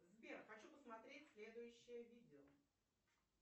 сбер хочу посмотреть следующее видео